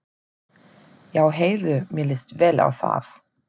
Já heyrðu, mér líst vel á það!